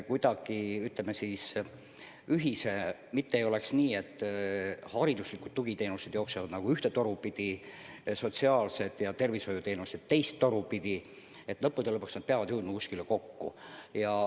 Kuidagi nii, et mitte ei oleks nõnda, et hariduslikud tugiteenused jooksevad nagu ühte toru pidi ja sotsiaalsed ja tervishoiuteenused teist toru pidi ning lõpuks peavad need jõudma kuskile kokku.